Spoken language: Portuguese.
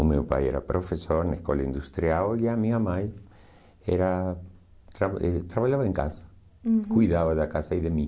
O meu pai era professor na escola industrial e a minha mãe era tra eh trabalhava em casa, uhum, cuidava da casa e de mim.